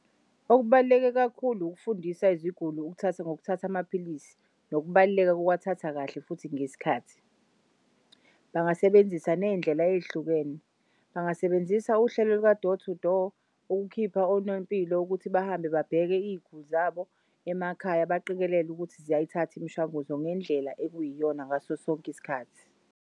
Okubaluleke kakhulu ukufundisa iziguli ukuthatha ngokuthatha amaphilisi, nokubaluleka kokwathatha kahle futhi ngesikhathi. Bangasebenzisa ney'ndlela ey'hlukene, bangasebenzisa uhlelo luka door-to-door ukukhipha onompilo ukuthi bahambe babheke iy'guli zabo emakhaya baqikelele ukuthi ziyayithath'imishwanguzo ngendlela ekuyiyona ngasosonk'isikhathi.